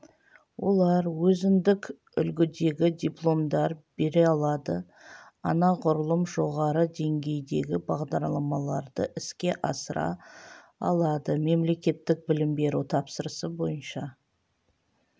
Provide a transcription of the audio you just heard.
олар өзіндік үлгідегі дипломдар бере алады анағұрлым жоғары деңгейдегі бағдарламаларды іске асыра алады мемлекеттік білім беру тапсырысы бойынша